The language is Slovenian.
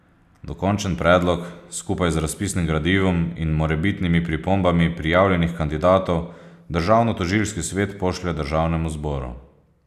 Dokončen predlog skupaj z razpisnim gradivom in morebitnimi pripombami prijavljenih kandidatov Državnotožilski svet pošlje Državnemu zboru.